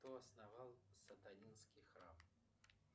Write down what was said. кто основал сатанинский храм